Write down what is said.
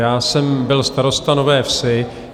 Já jsem byl starostou Nové Vsi.